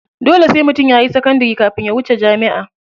Dole sai mutum yayi sakandari kafin ya wuce jami'a.